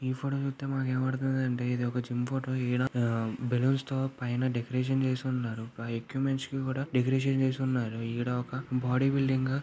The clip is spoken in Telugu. ఈ ఫోటో మనకు కనబడుతుంది అండి. ఇది జిమ్ ఫోటో బెలూన్స్ తో పైన డెకరేషన్ చేసి ఉన్నారు. ఎక్విప్మెంట్ కి కూడా డెకరేషన్ చేసి ఉన్నారు. ఈడ ఒక బాడీ బిల్డింగ్ --